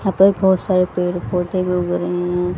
यहां पर बोहोत सारे पेड़ पौधे उग रहे हैं।